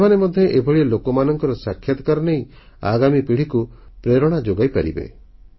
ସେମାନେ ମଧ୍ୟ ଏଭଳି ଲୋକମାନଙ୍କ ସାକ୍ଷାତକାର ନେଇ ଆଗାମୀ ପିଢ଼ିକୁ ପ୍ରେରଣା ଯୋଗାଇପାରିବେ